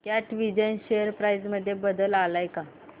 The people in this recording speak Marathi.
कॅटविजन शेअर प्राइस मध्ये बदल आलाय का